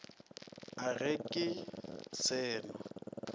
a ge ke se no